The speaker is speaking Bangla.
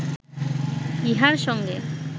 ইহার সঙ্গে